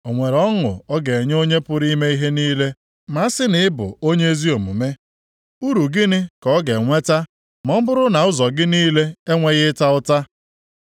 O nwere ọṅụ ọ ga-enye Onye pụrụ ime ihe niile ma a sị na ị bụ onye ezi omume? Uru gịnị ka ọ ga-enweta ma ọ bụrụ na ụzọ gị niile enweghị ịta ụta?